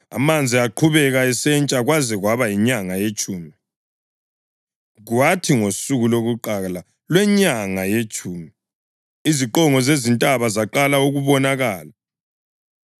Amanzi aqhubeka esentsha kwaze kwaba yinyanga yetshumi, kwathi ngosuku lokuqala lwenyanga yetshumi iziqongo zezintaba zaqala ukubonakala.